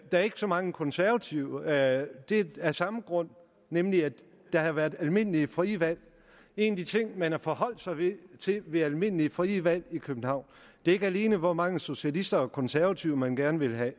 er ikke så mange konservative af samme grund nemlig at der har været almindelige frie valg en af de ting man har forholdt sig til ved almindelige frie valg i københavn er ikke alene hvor mange socialister og konservative man gerne vil have